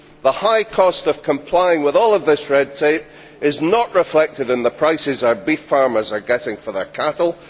The high cost of complying with all of this red tape is not reflected in the prices our beef farmers are getting for their cattle.